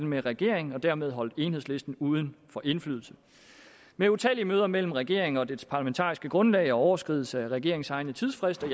med regeringen og dermed holdt enhedslisten uden for indflydelse med utallige møder mellem regeringen og dets parlamentariske grundlag overskridelse af regeringens egne tidsfrister